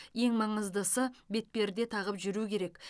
ең маңыздысы бетперде тағып жүру керек